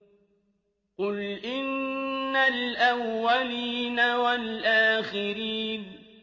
قُلْ إِنَّ الْأَوَّلِينَ وَالْآخِرِينَ